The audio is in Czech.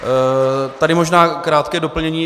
Tady možná krátké doplnění.